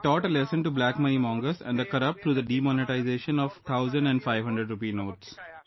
You have taught a lesson to black money mongers and the corrupt through the demonetization of 1000 and 500 rupee notes